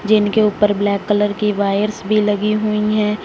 जिनके ऊपर black colour की वायर भी लगी हुई हैं।